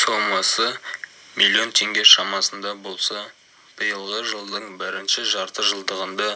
сомасы миллион тенге шамасында болса биылғы жылдың бірінші жартыжылдығында